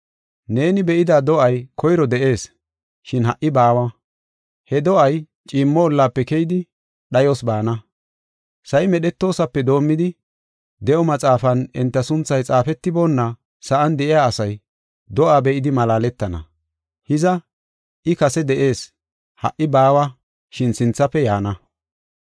Neeni be7ida do7ay koyro de7ees, shin ha77i baawa. He do7ay ciimmo ollafe keyidi dhayos baana. Sa7i medhetoosape doomidi, de7o maxaafan enta sunthay xaafetiboonna sa7an de7iya asay, do7aa be7idi malaaletana. Hiza, I kase de7ees; ha77i baawa, shin sinthafe yaana.